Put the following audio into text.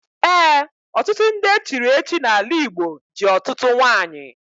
Ee, ọtụtụ ndị echiri echichi n'ala Igbo ji ọtụtụ nwanyị.